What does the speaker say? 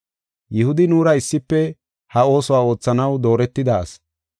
Yihudi nuura issife ha oosuwa oothanaw dooretida asi.”